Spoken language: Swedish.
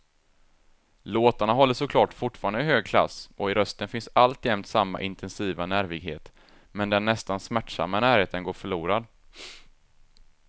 Låtarna håller såklart fortfarande hög klass och i rösten finns alltjämt samma intensiva nervighet, men den nästan smärtsamma närheten går förlorad.